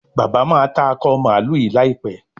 bàbá má tá Akọ mààlúù yí láìpé.